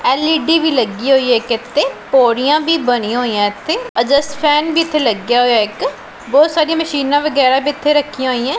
L E D ਵੀ ਲੱਗੀ ਹੋਈ ਹੈ ਇੱਕ ਇੱਥੇ ਪੌੜੀਆਂ ਵੀ ਬਣੀਆਂ ਹੋਈਐ ਇੱਥੇ ਅਜਸਟ ਫੈਨ ਭੀ ਇੱਥੇ ਲੱਗਿਆ ਹੋਇਆ ਇੱਕ ਬਹੁਤ ਸਾਰੀਆਂ ਮਸ਼ੀਨਾਂ ਵਗੈਰਾ ਵੀ ਇੱਥੇ ਰੱਖੀਆਂ ਹੋਈਐਂ।